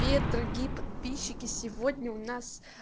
привет дорогие подписчики сегодня у нас